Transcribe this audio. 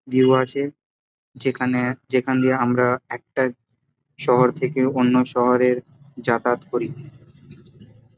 View আছে যেখানে যেখান দিয়ে আমরা একটা শহর থেকে অন্য শহরে যাতায়াত করি ।